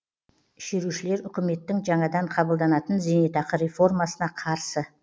шерушілер үкіметтің жаңадан қабылданатын зейнетақы реформасына қарсы